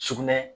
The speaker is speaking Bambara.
Sugunɛ